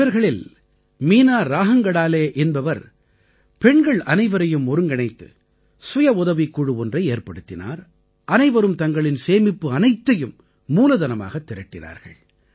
இவர்களில் மீனா ராஹங்கடாலே என்பவர் பெண்கள் அனைவரையும் ஒருங்கிணைத்து சுய உதவிக் குழு ஒன்றை ஏற்படுத்தினார் அனைவரும் தங்களின் சேமிப்பு அனைத்தையும் மூலதனமாகத் திரட்டினார்கள்